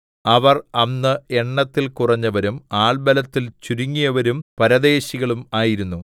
അവർ അന്ന് എണ്ണത്തിൽ കുറഞ്ഞവരും ആൾബലത്തിൽ ചുരുങ്ങിയവരും പരദേശികളും ആയിരുന്നു